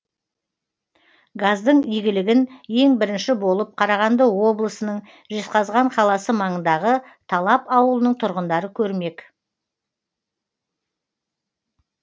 газдың игілігін ең бірінші болып қарағанды облысының жезқазған қаласы маңындағы талап ауылының тұрғындары көрмек